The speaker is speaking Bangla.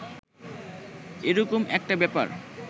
এ রকম একটা ব্যাপার